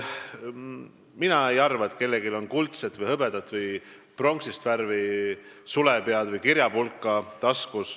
Mina ei arva, et kellelgi on taskus kuldne, hõbedane või pronksi värvi sulepea või kirjapulk.